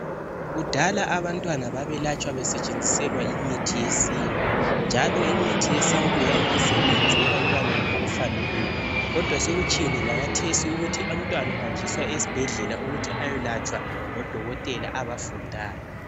Kudala abantwana babelatshwa besetshenziselwa imithi yesintu. Njalo imithi yesintu yayingasebenzi ebantwaneni okufaneleyo. kodwa sokutshiyene lakathesi ukuthi umntwana uhanjiswa esibhedlela ukuthi ayelatshwa ngodokotela abafundayo.